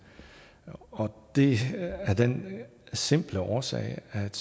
og det er af den simple årsag at